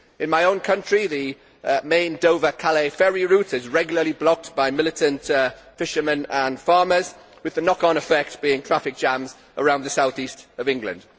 In my own country, the main Dover Calais ferry route is regularly blocked by militant fishermen and farmers, with the knock on effect of traffic jams around the south east of England.